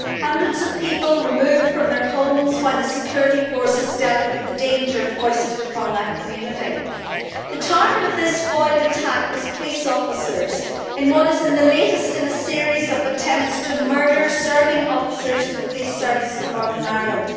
Hundreds of people were removed from their homes while the security forces dealt with the danger foisted upon that community. The target of this foiled attack was police officers in what is the latest in a series of attempts to murder serving officers of the Police Service of Northern Ireland.